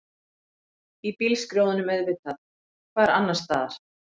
Í bílskrjóðnum auðvitað, hvar annarstaðar?